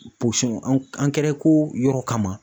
yɔrɔ kama.